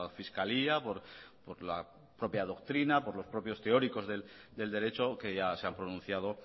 fiscalía por la propia doctrina por los propios teóricos del derecho que ya se han pronunciado